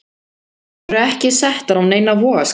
Þær eru ekki settar á neinar vogarskálar.